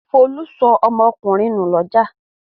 Folú sọ ọmọkùnrin nù lọ́jà.